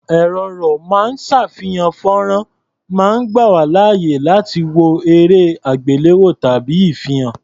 Ẹ̀̀rọ ró máa ń ṣàfihàn fọ́nrán máa ń gbà wá láàyè láti wo erẹ́-àgbéléwò tàbí ìfihàn.